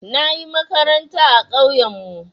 Na yi makaranta a ƙauyenmu.